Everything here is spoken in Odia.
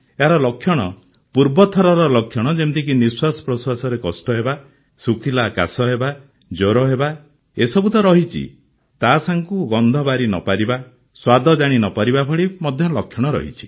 ଏହାର ଲକ୍ଷଣ ପୂର୍ବ ଥରର ଲକ୍ଷଣ ଯେମିତିକି ନିଃଶ୍ୱାସପ୍ରଶ୍ୱାସରେ କଷ୍ଟ ହେବା ଶୁଖିଲା କାଶ ହେବା ଜ୍ୱର ହେବା ଏସବୁ ତ ରହିଛି ତା ସାଙ୍ଗକୁ ଗନ୍ଧ ବାରି ନ ପାରିବା ସ୍ୱାଦ ଜାଣି ନ ପାରିବା ଭଳି ଲକ୍ଷଣ ମଧ୍ୟ ରହିଛି